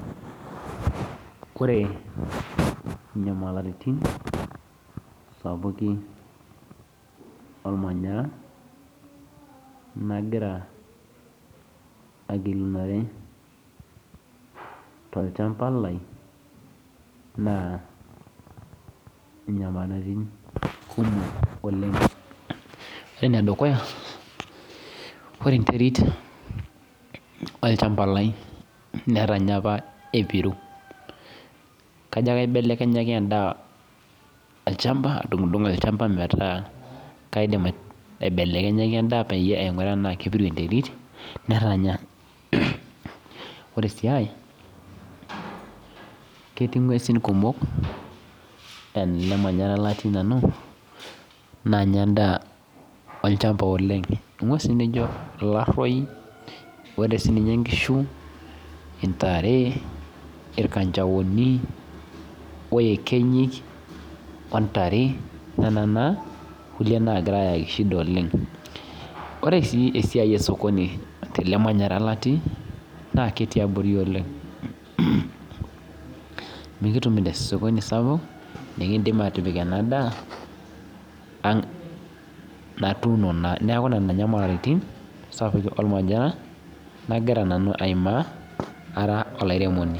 Ore inyamalaritin sapukin ormanyaraa nagira agilinuore tochamba lai naa inyamalaritin kumok oleng ore enedukuya naa ore enterit olchamba lai netanya apa epiru kajo aibelekenyaki adung'udung netanya ore sii ae ketii ingues kumok nanyaa endaa olchamba ore sii ninche inkushu intare oekenyi nena naa naagira aiki shida oleng ore shida osokoni tene natii mikitumito sokoni sapuk nikimdiim atiipik ena daa natuuono naa neeku nena inyamalaritin nagiraa aimaa. Ara olairemoni